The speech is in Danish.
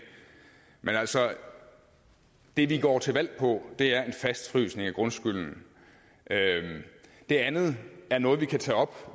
men altså det vi går til valg på er en fastfrysning af grundskylden det andet er noget vi kan tage op